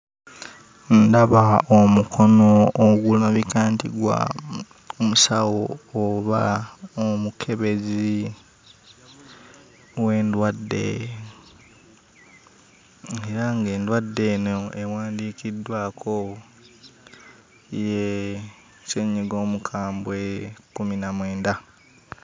Ndaba omukono ogulabika nti gwa musawo oba omukebezi w'endwadde era ng'endwadde eno ewandiikiddwako ye ssennyiga omukambwe kkumi na mwenda.